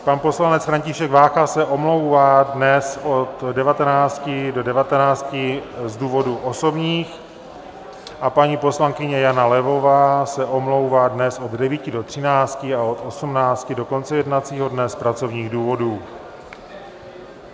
Pan poslanec František Vácha se omlouvá dnes od 19 do 19 (?) z důvodů osobních a paní poslankyně Jana Levová se omlouvá dnes od 9 do 13 a od 18 do konce jednacího dne z pracovních důvodů.